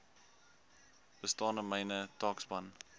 bestaande mynbou taakspan